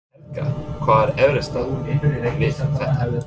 Helga: Hvað er erfiðast við þetta?